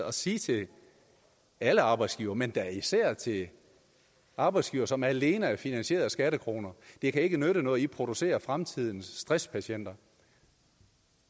at sige til alle arbejdsgivere men da især til arbejdsgivere som alene er finansieret af skattekroner det kan ikke nytte noget at i producerer fremtidens stresspatienter